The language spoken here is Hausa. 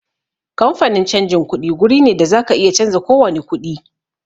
Kamfanin canjin kuɗi guri ne da zaka iya canza kowani kuɗi